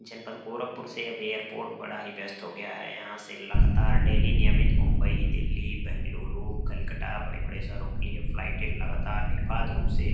जनपद गोरखपुर से अब एयरपोर्ट बड़ा ही व्यस्त हो गया है यहां से लगातार डेली नियमित मुंबई दिल्ली बेंगलुरु कोलकाटा बड़े-बड़े शहरों के लिए फ्लाइट लगातार निर्भात रूप से --